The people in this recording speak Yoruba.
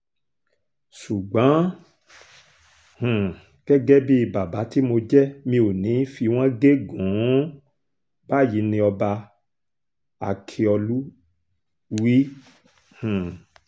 ṣùgbọ́n um gẹ́gẹ́ bíi bàbá tí mo jẹ́ mi ò ní í fi wọ́n gégùn-ún báyìí ni ọba ákíọ̀lù wí um